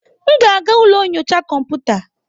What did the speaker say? M ga-aga ụlọ nyocha kọmputa.